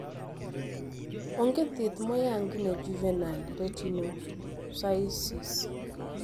Onge thieth moyangi ne juvenile retinoschisis